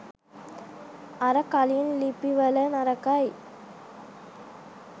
අර කලින් ලිපි වල නරකයි